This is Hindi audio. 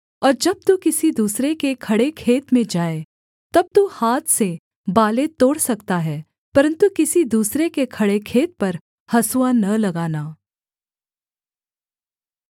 और जब तू किसी दूसरे के खड़े खेत में जाए तब तू हाथ से बालें तोड़ सकता है परन्तु किसी दूसरे के खड़े खेत पर हँसुआ न लगाना